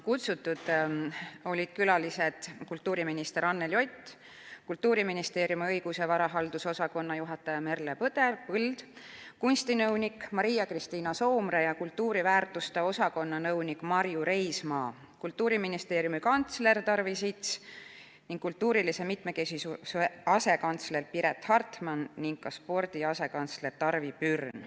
Kutsutud olid kultuuriminister Anneli Ott, Kultuuriministeeriumi õigus- ja varahaldusosakonna juhataja Merle Põld, kunstinõunik Maria-Kristiina Soomre, kultuuriväärtuste osakonna nõunik Marju Reismaa, kantsler Tarvi Sits, kultuurilise mitmekesisuse asekantsler Piret Hartman ning ka spordi asekantsler Tarvi Pürn.